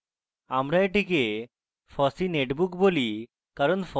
আমরা এটিকে fossee netbook বলি কারণ